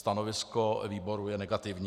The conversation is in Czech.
Stanovisko výboru je negativní.